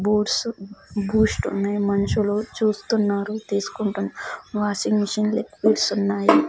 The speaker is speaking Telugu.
బూట్స్ బూస్ట్ ఉన్నాయ్ మనుషులు చూస్తున్నారు తీసుకుంటం వాషింగ్ మిషన్ లిక్విడ్స్ ఉన్నాయి.